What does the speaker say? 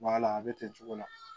B'a la a bɛ ten cogo la